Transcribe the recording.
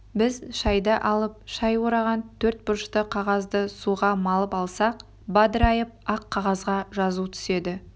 біз шайды алып шай ораған төрт бұрышты қағазды суға малып алсақ бадырайып ақ қағазға жазу түседі